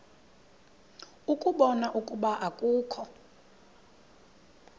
ukubona ukuba akukho